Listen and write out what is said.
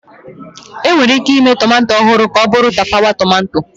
Enwere ike ịme tomato ọhụrụ ka ọ bụrụ tapawa tomato